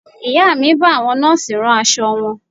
Ìyá mi ń bá àwọn Nọ́ọ̀sì rán aṣọ wọn